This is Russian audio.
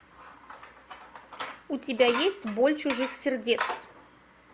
у тебя есть боль чужих сердец